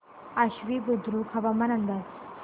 आश्वी बुद्रुक हवामान अंदाज